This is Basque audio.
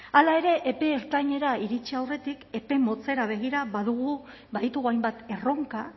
hala ere epe ertainera iritsi aurretik epe motzera begira badugu baditugu hainbat erronka